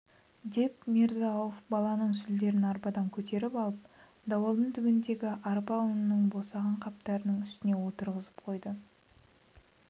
деп мирза-ауф баланың сүлдерін арбадан көтеріп алып дуалдың түбіндегі арпа ұнынан босаған қаптардың үстіне отырғызып қойды